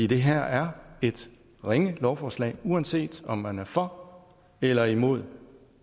det her er et ringe lovforslag uanset om man er for eller imod